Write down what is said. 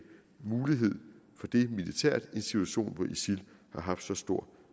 mulighed for det militært i en situation hvor isil har haft så stor